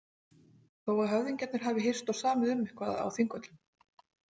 Þó að höfðingjarnir hafi hist og samið um eitthvað á Þingvöllum.